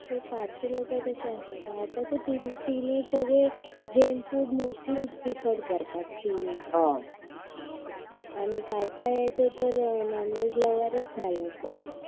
ते पारशी लोक कसे असतात आता तर तिने सगळे जैन सगळे मोस्टली प्रीफर्ड करतात थीन एज आणि काय काय असे तर नॉनव्हेज लव्हरच झालेत